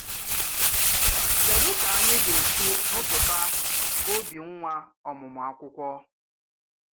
Kédú ka anyị ga-esi rụpụta obi nwa ọmụmụ akwụkwọ?